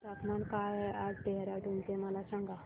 तापमान काय आहे आज देहराडून चे मला सांगा